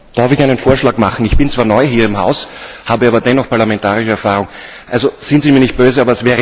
Darf ich einen Vorschlag machen? Ich bin zwar neu hier im Haus, habe aber dennoch parlamentarische Erfahrung. Seien Sie mir nicht böse.